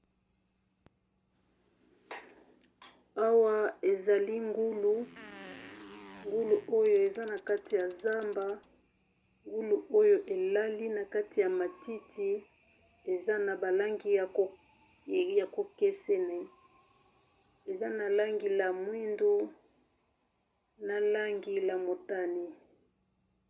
Awa ezali ngulu, ngulu oyo eza na kati ya zamba elali na kati ya matiti eza na ba langi ya bokeseni, langi ya mwindu, na langi ya motani.